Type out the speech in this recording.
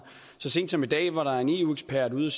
så sent som i dag var der en eu ekspert ude